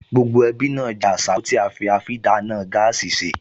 Gbogbo ẹbí náà jẹ àsáró tí á fi àfidáná gáàsì sè